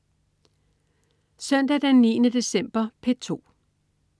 Søndag den 9. december - P2: